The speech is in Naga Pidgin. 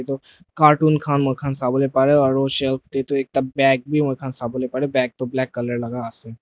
tops cartoon khan moikhan sabo pare aro shelf tey tu ekta bag beh moihan sabole pare ase bag tu black colour laka ase.